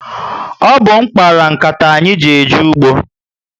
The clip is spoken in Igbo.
Ọ bu m kpara m nkata anyị ji eje ugbo